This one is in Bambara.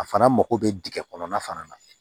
A fana mago bɛ dingɛ kɔnɔna fana na